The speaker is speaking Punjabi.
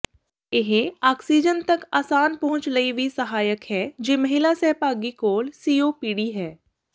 ਇਹ ਆਕਸੀਜਨ ਤਕ ਆਸਾਨ ਪਹੁੰਚ ਲਈ ਵੀ ਸਹਾਇਕ ਹੈ ਜੇ ਮਹਿਲਾ ਸਹਿਭਾਗੀ ਕੋਲ ਸੀਓਪੀਡੀ ਹੈ